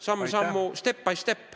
Samm-sammult, step by step.